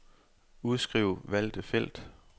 Udskriv valgte felt.